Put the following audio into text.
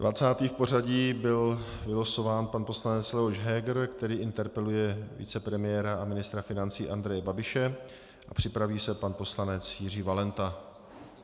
Dvacátý v pořadí byl vylosován pan poslanec Leoš Heger, který interpeluje vicepremiéra a ministra financí Andreje Babiše, a připraví se pan poslanec Jiří Valenta.